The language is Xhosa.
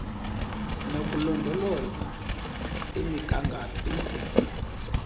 nokulondoloza imigangatho ibhunga